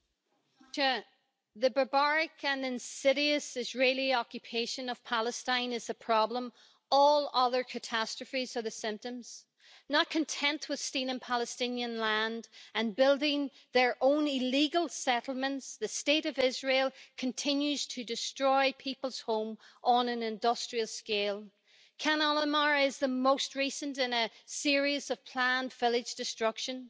Mr President, the barbaric and insidious Israeli occupation of Palestine is the problem. All other catastrophes are the symptoms. Not content with stealing Palestinian land and building their own illegal settlements, the State of Israel continues to destroy people's homes on an industrial scale. Khan al-Ahmar is the most recent in a series of planned village destruction.